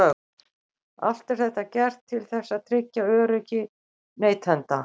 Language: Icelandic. Allt er þetta gert til þess að tryggja öryggi neytenda.